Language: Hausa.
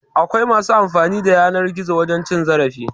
Akwai masu amfani da yanar gizo wajen cin zarafi